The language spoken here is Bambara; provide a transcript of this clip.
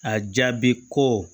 A jaabi ko